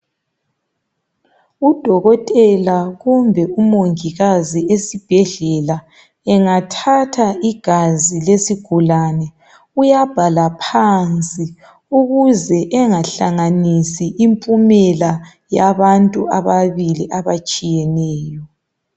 u dokotela kumbe umongikazi esibhedlela engathatha igazi lesigulane uyabhala phansi ukuze engahlanganisi impumela yabantu ababili abatshiyeneyo